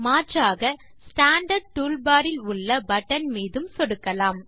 மாற்றாக standard toolbar இல் உள்ள பட்டன் மீது சொடுக்கவும்